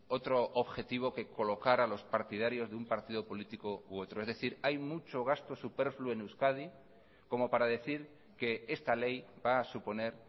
otro objetivo que colocar a los partidarios de un partido político u otro es decir hay mucho gasto superfluo en euskadi como para decir que esta ley va a suponer